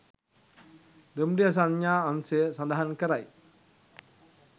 දුම්රිය සංඥා අංශය සඳහන් කරයි